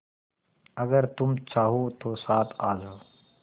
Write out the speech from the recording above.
अगर तुम चाहो तो साथ आ जाओ